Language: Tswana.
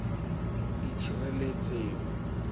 itshireletso